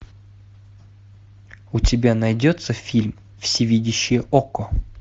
у тебя найдется фильм всевидящее око